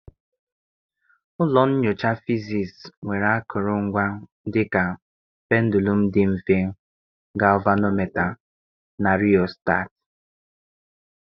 Ụlọ nyocha fiziisii nwere akụrụngwa dị ka pendụlụm dị mfe, gavanometa na riostat.